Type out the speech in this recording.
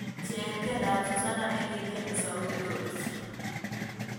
Cheng' tiendap susanna ne kitieni sauti rotich